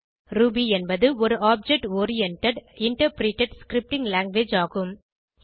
Ruby என்பது ஒரு object oriented interpreted scripting language ஆகும்